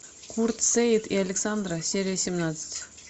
курт сеит и александра серия семнадцать